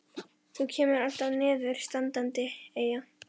Þú kemur alltaf niður standandi, Eyja.